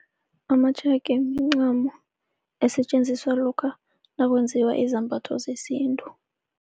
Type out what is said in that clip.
Amatshega mincamo esetjenziswa lokha nakwenziwa izambatho zesintu.